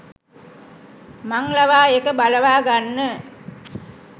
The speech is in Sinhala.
මං ලවා ඒක බලවාගන්න